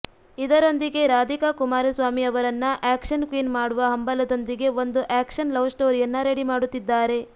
ಇದರೊಂದಿಗೆ ರಾಧಿಕಾ ಕುಮಾರಸ್ವಾಮಿ ಅವರನ್ನ action queen ಮಾಡುವ ಹಂಬಲದೊಂದಿಗೆ ಒಂದು ಆಕ್ಷನ್ ಲವ್ ಸ್ಟೋರಿಯನ್ನ ರೆಡಿಮಾಡುತ್ತಿದ್ದಾರೆ